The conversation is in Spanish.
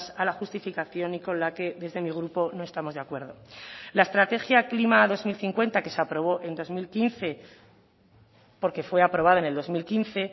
a la justificación y con la que desde mi grupo no estamos de acuerdo la estrategia klima dos mil cincuenta que se aprobó en dos mil quince porque fue aprobada en el dos mil quince